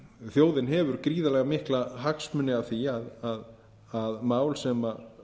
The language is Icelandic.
þjóðin hefur gríðarlega mikla hagsmuni af því að mál sem